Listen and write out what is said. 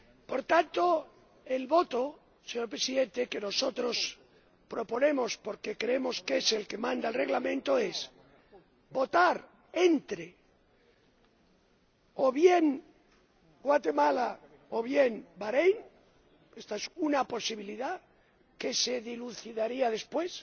Por tanto, señor Presidente, lo que nosotros proponemos, porque creemos que es lo que dispone el Reglamento, es votar entre o bien Guatemala o bien Baréin —esta es una posibilidad que se dilucidaría después—